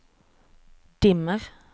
dimmer